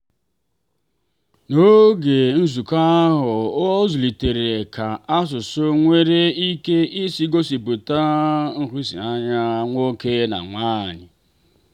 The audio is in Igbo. n'oge nzukọ ahụ ọ zụlitere ka asụsụ nwere ike isi gosipụta nhụsianya nwoke na nwanyị.